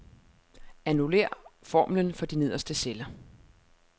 Annullér formlen for de nederste celler.